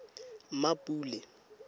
mmapule